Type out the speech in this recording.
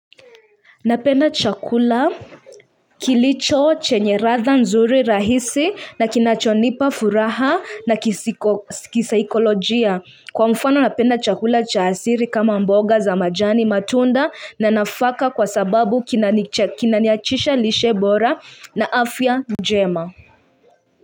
Napenda chakula kilicho chenye ladha nzuri rahisi na kinachonipa furaha na kisaikolojia. Kwa mfano napenda chakula cha asili kama mboga za majani matunda na nafaka kwa sababu kinaniachisha lishe bora na afya njema.